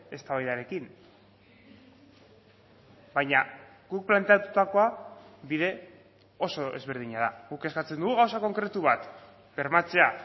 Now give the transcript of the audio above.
eztabaidarekin baina guk planteatutakoa bide oso ezberdina da guk eskatzen dugu gauza konkretu bat bermatzea